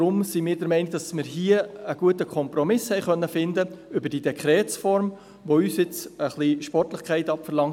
Deshalb sind wir der Meinung, dass wir hier mit dieser Dekretsform einen guten Kompromiss finden konnten, der uns in den nächsten Monaten ein bisschen Sportlichkeit abverlangt.